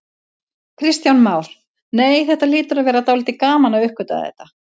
Kristján Már: Nei, þetta hlýtur að vera dálítið gaman að uppgötva þetta?